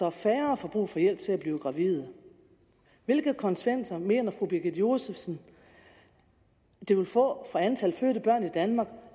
at færre får brug for hjælp til at blive gravide hvilke konsekvenser mener fru birgitte josefsen det vil få for antallet af fødte børn i danmark